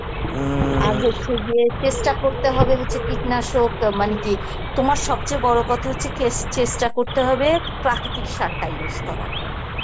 হচ্ছে গিয়ে চেষ্টা করতে হবে হচ্ছে কীটনাশক মানে কি তোমার সবচেয়ে বড় কথা হচ্ছে যে কেস~ চেষ্টা করতে হবে প্রাকৃতিক সাতটা use করার